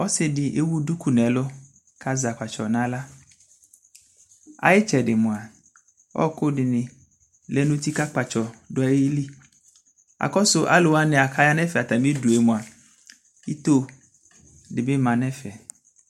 ɔsiidi ɛwʋ dʋkʋ nʋ ɛlʋ kʋ azɛ akpatsɔ nʋ ala, ayi itsɛdi mʋa ɔkʋ dini lɛnʋ ʋti kʋ akpatsɔ dʋali, akɔsʋ alʋwa kʋ aya nʋ ɛƒɛ ayidʋɛ mʋa itɔɔ dibi manʋ ɛƒɛ